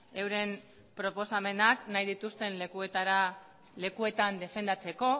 euren proposamenak nahi dituzten lekuetan defendatzeko